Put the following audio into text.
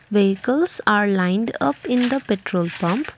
vehicles are lined up in the petrol pump.